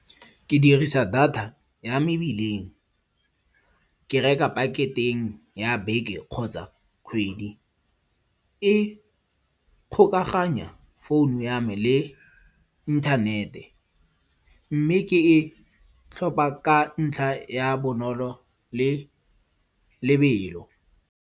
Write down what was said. Ke dirisa data ya mebileng. Ke reka packet-eng ya beke kgotsa kgwedi. E kgokaganya founu ya me le inthanete. Mme ke e tlhopha ka ntlha ya bonolo le lebelo.